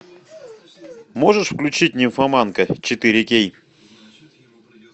можешь включить нимфоманка четыре кей